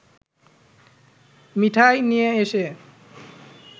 মিঠাই নিয়ে এসে